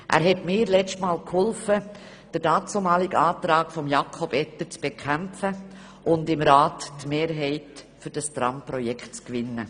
Er half mir beim letzten Mal, den damaligen Antrag von Jakob Etter zu bekämpfen und im Rat die Mehrheit für das Tramprojekt zu gewinnen.